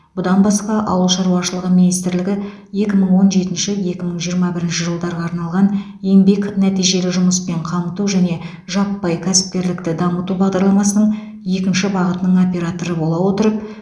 бұдан басқа ауыл шаруашылығы министрлігі екі мың он жетінші екі мың жиырма бірінші жылдарға арналған еңбек нәтижелі жұмыспен қамту және жаппай кәсіпкерлікті дамыту бағдарламасының екінші бағытының операторы бола отырып